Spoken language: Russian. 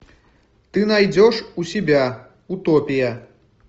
ты найдешь у себя утопия